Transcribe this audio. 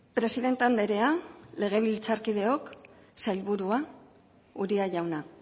presidente andrea legebiltzarkideok sailburua uria jauna